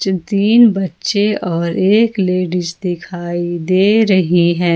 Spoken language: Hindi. तीन बच्चे और एक लेडिस दिखाई दे रही है।